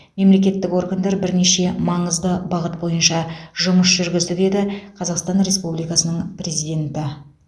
мемлекеттік органдар бірнеше маңызды бағыт бойынша жұмыс жүргізді деді қазақстан республикасының президенті